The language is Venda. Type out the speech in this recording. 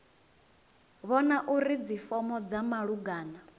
vhona uri dzifomo dza malugana